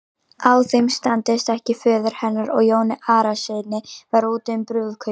Ef þeim samdist ekki föður hennar og Jóni Arasyni var úti um brúðkaupið.